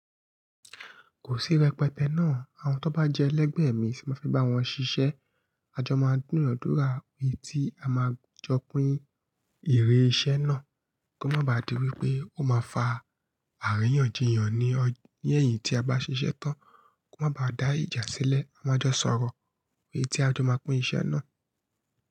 Kò sí rẹpẹtẹ náà, àwọn tó bá jẹ́ ẹlẹgbẹ́ mi si máa fi bá wọn ṣiṣẹ́. A jọ máa dunádura iye tí a máa jọ pín èrè iṣẹ́ náà, ko má ba à di wípé ó máa fa àríyànjiyàn ní ọj, ni ẹ̀yìn tí a bá ṣiṣẹ́ tán. Ko má ba à dá ìjà sílẹ̀, a máa jọ sọ̀rọ̀ iye tí a jọ máa pín iṣẹ́ náà.